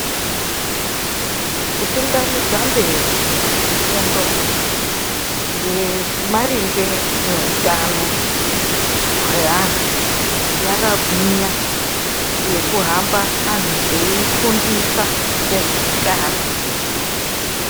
Kutungamidza mberi fundo yemaringe neutano hweantu yakagwinya yekuhamba antu eifundisa ngezveutano.